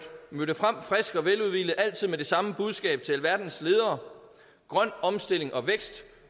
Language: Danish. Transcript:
mødte frem frisk og veludhvilet og altid med det samme budskab til alverdens ledere grøn omstilling og vækst